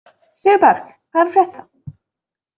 Sigurberg, hvað er að frétta?